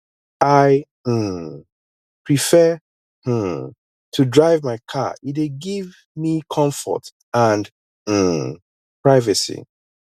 i um prefer um to drive my car e dey give me comfort and um privacy